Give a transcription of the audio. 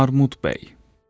Armud bəy.